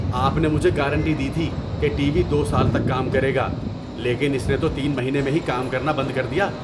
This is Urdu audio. آپ نے مجھے گارنٹی دی تھی کہ ٹی وی دو سال تک کام کرے گا لیکن اس نے تو تین مہینے میں ہی کام کرنا بند کر دیا!